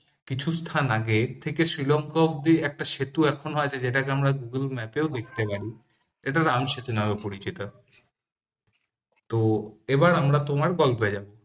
কিছু স্থান আগে থেকে শ্রীলঙ্কা অবধি একটা সেতু এখনও আছে যেটাকে আমরা google map এও দেখতে পারি এটা রাম সেতু নামে পরিচিত তো এবার আমরা তোমার গল্পে যাব